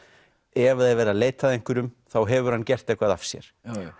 ef það er verið að leita að einhverjum þá hefur hann gert eitthvað af sér